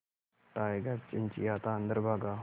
tiger चिंचिंयाता अंदर भागा